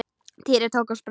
Týri tók á sprett.